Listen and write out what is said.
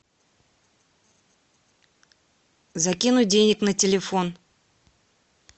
закинуть денег на телефон